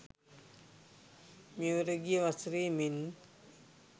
මෙවර ගිය වසරේ මෙන්